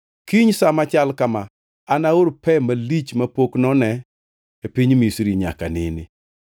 kiny sa machal kama anaor pe malich mapok none e piny Misri, nyaka nene.